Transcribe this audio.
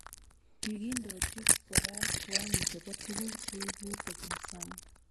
Kikindoji kora kiwango chebo tuguk cheibu kobun sang